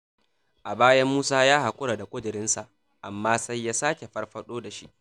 A baya Musa ya haƙura da ƙudiri nasa, amma sai ya sake farfaɗo da shi